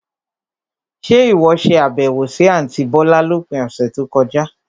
Ṣe ìwọ ṣe àbẹ̀wò sì àntí bọ̀lá lópin ọ̀sẹ̀ tó kọjá?